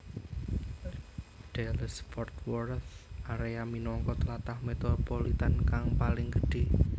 Dallas Fort Worth area minangka tlatah metropolitan kang paling gedhé